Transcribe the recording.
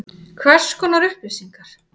Hvers konar upplýsingar?